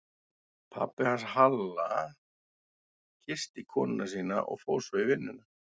Pabbi hans Halla kyssti konuna sína og fór svo í vinnuna.